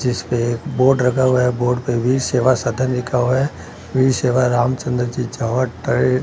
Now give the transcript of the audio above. जिसपे बोर्ड रखा हुआ है बोर्ड पे भी भी सेवा सदन लिखा हुआ है वीर सेवा रामचंद्र जी --